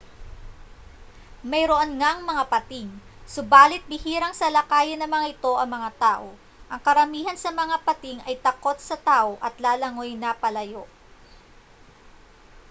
mayroon ngang mga pating subali't bihirang salakayin ng mga ito ang mga tao ang karamihan sa mga pating ay takot sa tao at lalangoy na palayo